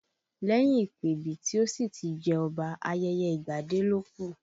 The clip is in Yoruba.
Lẹ́yìn ìpèbí tí ó sì ti jẹ́ Ọba, ayẹyẹ ìgbadé ló kù